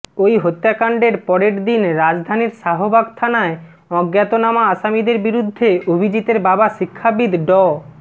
ওই হত্যাকাণ্ডের পরের দিন রাজধানীর শাহবাগ থানায় অজ্ঞাতনামা আসামিদের বিরুদ্ধে অভিজিতের বাবা শিক্ষাবিদ ড